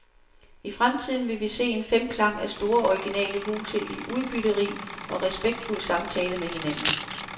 I fremtiden vil vi se en femklang af store originale huse i udbytterig og respektfuld samtale med hinanden.